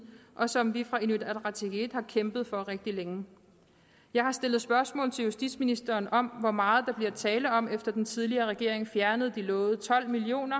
og som vi fra inuit ataqatigiit har kæmpet for rigtig længe jeg har stillet spørgsmål til justitsministeren om hvor meget der bliver tale om efter at den tidligere regering fjernede de lovede tolv million